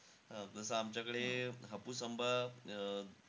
अं जसं आमच्याकडे हापूस आंबा अं